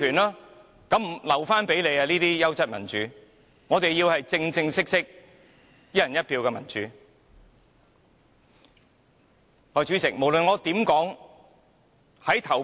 "優質民主"就留給建制派議員吧，我們要的是正正式式，"一人一票"的民主。